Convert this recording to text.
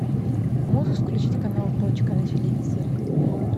можешь включить канал точка на телевизоре